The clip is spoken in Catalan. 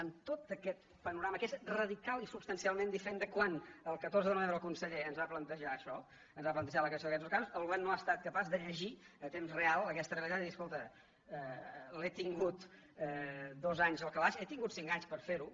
amb tot aquest panorama que és radicalment i substancialment diferent de quan el catorze de novembre el conseller ens va plantejar això ens va plantejar la creació d’aquests nous cànons el govern no ha estat capaç de llegir a temps real aquesta realitat i dir escolta l’he tingut dos anys al calaix he tingut cinc anys per fer·ho